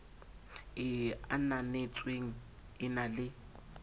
e ananetsweng e na le